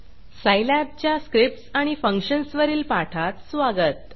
सायलॅबच्या scripts आणि functions वरील पाठात स्वागत